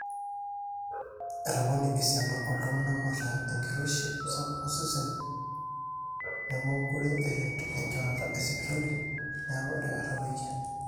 etopone esiana ooltung'anak oota enkiroshi sapuk osesen nemookure eret enjorata esipitali neeku etabaKi